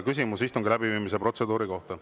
Küsimus istungi läbiviimise protseduuri kohta.